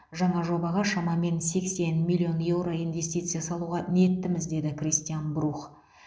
жаңа жобаға шамамен сексен миллион еуро инвестиция салуға ниеттіміз деді кристиан брух